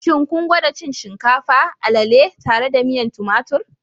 Shin kun gwada cin shinkafa, alele tare da miyan tumatir?